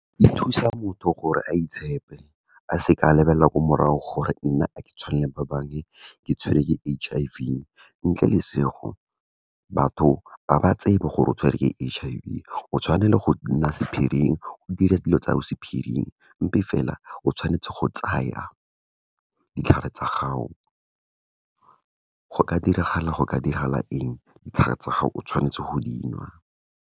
E thusa motho gore a itshepe, a se ka lebelela ko morago gore nna a ke tshwane le ba bangwe, ke tshwerwe ke H_I_V, ntle le , batho ga ba tsebe gore o tshwere ke H_I_V, o tshwanne le go nna sephiring, o dira dilo tsao sephiring empa fela, o tshwanetse go tsaya ditlhare tsa gago, go ka diragala, go ka diragala eng, ditlhare tsa gago o tshwanetse go dinwa.